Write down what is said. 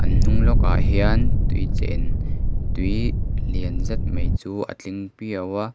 a hnung lawk ah hian vtui chen tui lian zet mai chu a tling piau a.